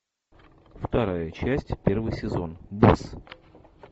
вторая часть первый сезон босс